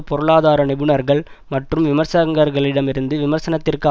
பொருளாதார நிபுணர்கள் மற்றும் விமர்சகர்களிடமிருந்து விமர்சனத்திற்கு